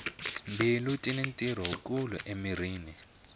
mbilu tini ntirho wu kulu emirhini